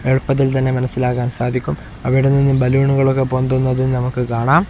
എളുപ്പത്തിൽ തന്നെ മനസ്സിലാക്കാൻ സാധിക്കും അവിടെനിന്ന് ബലൂണുകളൊക്കെ പൊന്തുന്നത് നമുക്ക് കാണാം.